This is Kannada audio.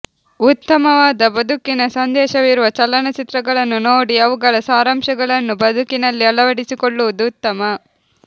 ಉತ್ತಮವಾದ ಬದುಕಿನ ಸಂದೇಶವಿರುವ ಚಲನಚಿತ್ರಗಳನ್ನು ನೋಡಿ ಅವುಗಳ ಸಾರಾಂಶಗಳನ್ನು ಬದುಕಿನಲ್ಲಿ ಅಳವಡಿಸಿಕೊಳ್ಳುವುದು ಉತ್ತಮ